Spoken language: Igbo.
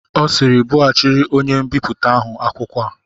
Ọ sịịrị, bughachịrị onye mbipụta ahụ akwụkwọ a!